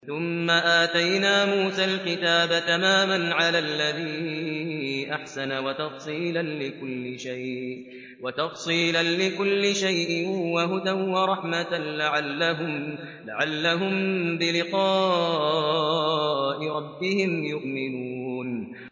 ثُمَّ آتَيْنَا مُوسَى الْكِتَابَ تَمَامًا عَلَى الَّذِي أَحْسَنَ وَتَفْصِيلًا لِّكُلِّ شَيْءٍ وَهُدًى وَرَحْمَةً لَّعَلَّهُم بِلِقَاءِ رَبِّهِمْ يُؤْمِنُونَ